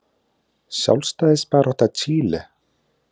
Sjálfstæðisbarátta Chile.